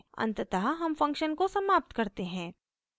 अंततः हम फंक्शन को समाप्त करते हैं